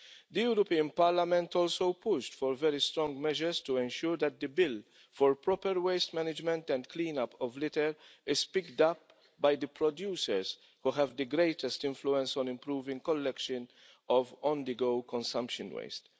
The European Parliament also pushed for very strong measures to ensure that the bill for proper waste management and clean-up of litter is picked up by the producers, who have the greatest influence on improving collection of on-the-go consumption waste.